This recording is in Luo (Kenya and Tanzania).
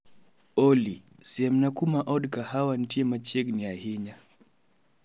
Olly siemna kuma od kahawa ntie machiegni sana